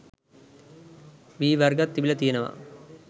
වී වර්ගත් තිබිල තියනව.